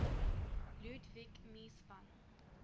ludwig mies van